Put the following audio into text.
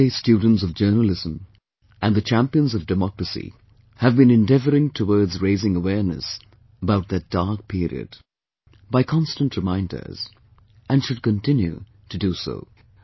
The presentday students of journalism and the champions of democracy have been endeavouring towards raising awareness about that dark period, by constant reminders, and should continue to do so